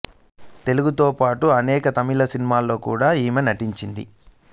తెలుగుతో పాటు అనేక తమిళ సినిమాల్లో కూడా ఈమె నటించింది